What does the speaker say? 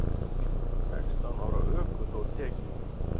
Sextán ára ökuþór tekinn